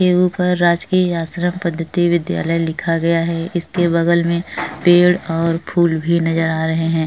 इसके ऊपर राजकीय आश्रम पद्धति विद्यालय लिखा गया है। इसके बगल में पेड़ और फूल भी नजर आ रहे हैं।